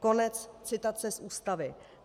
Konec citace z Ústavy.